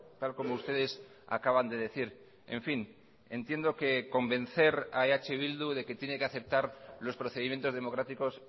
tal como ustedes acaban de decir en fin entiendo que convencer a eh bildu de que tiene que aceptar los procedimientos democráticos